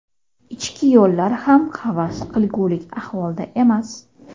Ichki yo‘llar ham havas qilgulik ahvolda emas.